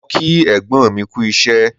Mo kí ẹ̀gbọ́n mi kú isẹ́